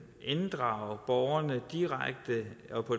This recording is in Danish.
inddrage borgerne direkte